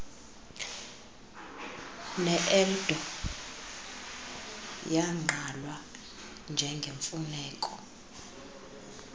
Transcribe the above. neeldo yagqalwa njengemfuneko